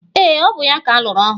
Ee, ọ bụ ya ka alụrụ ọhụrụ